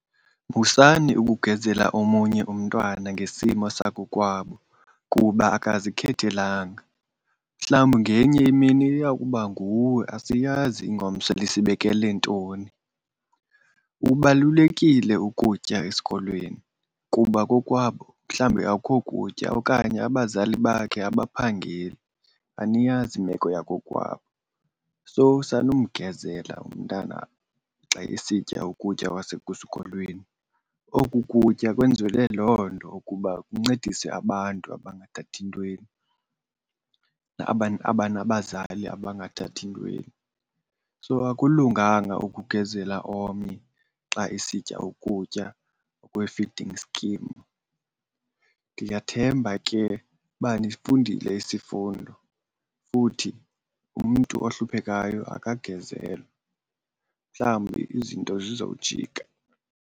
Musani ukugezela omunye umntwana ngesimo sakokwabo kuba akazikhethelanga. Mhlawumbi ngenye imini iya kuba nguwe, asiyazi ingomso lisiphathele ntoni. Kubalulekile ukutya esikolweni kuba kokwabo mhlawumbe akho kutya okanye abazali bakhe abaphangeli, aniyazi imeko yakokwabo. So sanumgezela umntana xa esitya ukutya kwasekusikolweni. Oku kutya kwenzelwe loo nto ukuba kuncedise abantu abangathathi ntweni, abanabazali abangathathi ntweni. So akulunganga ukugezela omnye xa esitya ukutya okwe-feeding scheme. Ndiyathemba ke uba nifundile isifundo futhi umntu ohluphekayo akagezelwa, mhlawumbi izinto zizowujika.